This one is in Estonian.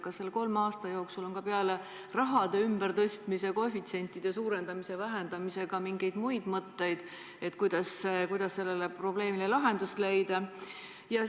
Kas selle kolme aasta jooksul on peale raha ümbertõstmise ja koefitsientide suurendamise-vähendamise olnud ka mingeid muid mõtteid, kuidas sellele probleemile lahendust leida?